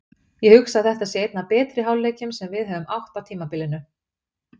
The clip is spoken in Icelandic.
Ég hugsa að þetta sé einn af betri hálfleikjum sem við höfum átt á tímabilinu.